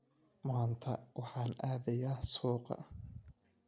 Maanta waxaan aadayaa suuqa